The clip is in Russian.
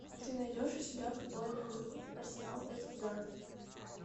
ты найдешь у себя футбольную игру арсенал против бернли